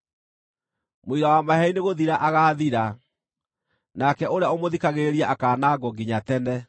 Mũira wa maheeni nĩgũthira agaathira, nake ũrĩa ũmũthikagĩrĩria akaanangwo nginya tene.